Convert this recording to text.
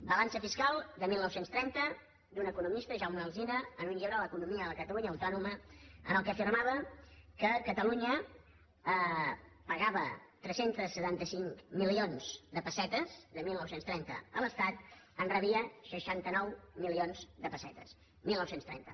balança fiscal de dinou trenta d’un economista jaume alzina en un llibre l’economia de la catalunya autònoma en què afirmava que catalunya pagava tres cents i setanta cinc milions de pessetes de dinou trenta a l’estat en rebia seixanta nou milions de pessetes dinou trenta